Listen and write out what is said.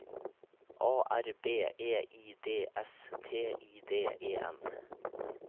A R B E I D S T I D E N